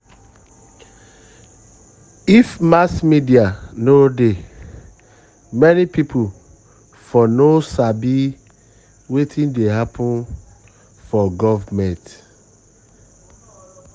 if mass media no dey many people for no sabi wetin dey happen for government.